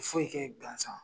Fo' yi kɛ gansan.